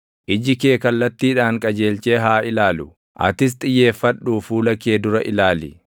Iji kee kallattiidhaan qajeelchee haa ilaalu; atis xiyyeeffadhuu fuula kee dura ilaali.